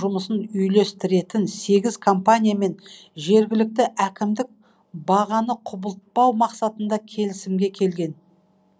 жұмысын үйлестіретін сегіз компаниямен жергілікті әкімдік бағаны құбылтпау мақсатында келісімге келген